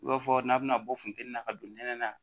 I b'a fɔ n'a bɛna bɔ funteni na ka don nɛnɛ na